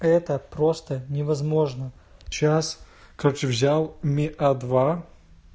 это просто невозможно сейчас короче взял ми а два